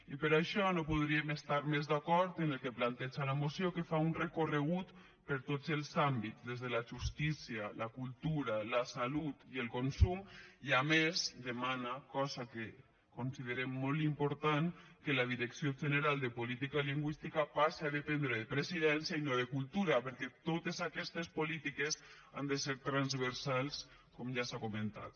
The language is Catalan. i per això no podríem estar més d’acord en el que planteja la moció que fa un recorregut per tots els àmbits des de la justícia la cultura la salut i el consum i a més demana cosa que considerem molt important que la direcció general de política lingüística passi a dependre de presidència i no de cultura perquè totes aquestes polítiques han de ser transversals com ja s’ha comentat